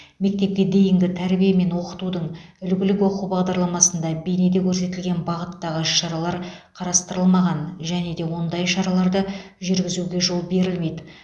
мектепке дейінгі тәрбие мен оқытудың үлгілік оқу бағдарламасында бейнеде көрсетілен бағыттағы іс шаралар қарастырылмаған және де ондай шараларды жүргізуге жол берілмейді